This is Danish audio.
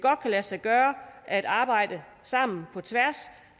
kan lade sig gøre at arbejde sammen på tværs